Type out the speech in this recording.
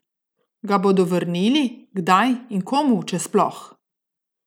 Ga bodo vrnili, kdaj in komu, če sploh?